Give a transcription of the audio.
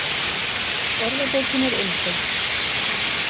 Orðabókin er einföld